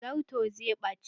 Zarton zai ɓace.